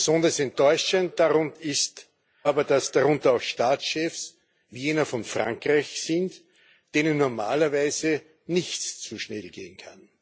Besonders enttäuschend ist aber, dass darunter auch Staatschefs wie jener von Frankreich sind, denen normalerweise nichts zu schnell gehen kann.